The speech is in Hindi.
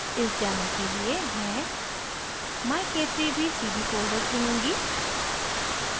इस demo के लिए मैं myk3bcd folder चुनूँगी